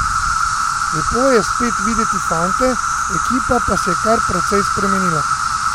Lepo je spet videti fante, ekipa pa se je kar precej spremenila.